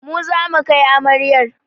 Mu zamu kai amaryar